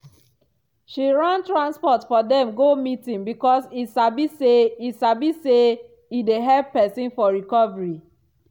she run transport for dem go meeting because e sabi say e sabi say e dey help pesin for recovery.